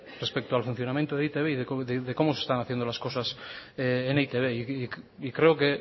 respecto al funcionamiento de e i te be y de cómo se están haciendo las cosas en e i te be y creo que